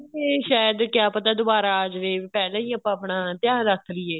ਵੀ ਸ਼ਾਇਦ ਕਿਆ ਪਤਾ ਦੁਬਾਰਾ ਆ ਜਵੇ ਪਹਿਲਾਂ ਵੀ ਆਪਾਂ ਆਪਣਾ ਧਿਆਨ ਰੱਖ ਲਈਏ